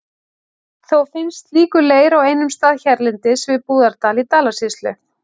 Þó finnst slíkur leir á einum stað hérlendis, við Búðardal í Dalasýslu.